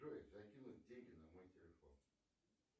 джой закинуть деньги на мой телефон